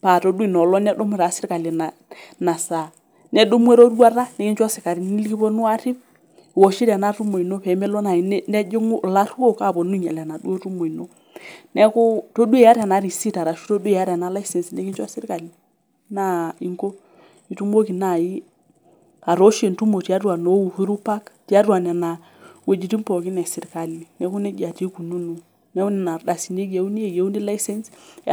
paitadua noolong nedumu na serkali inasaa nedumu eroruata nikincho sikarini likiponu arip iwoshito enatuma pemeponu ake laruok aponu ainyal enaduo tumo ino neaku todua iyata enarisit nikichoo serkali na inko itumoki nai atoosho entumo tiatua Uhuru park pookin eserkali neaku nejia na ikununo eyiuni.